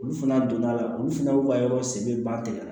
Olu fana donda la olu fana b'u ka yɔrɔ se ban tɛ yan